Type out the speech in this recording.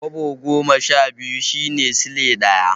Kwabo goma sha biyu shine Silai ɗaya.